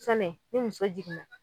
Sanɛ ni muso jiginna